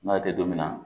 N'a tɛ don min na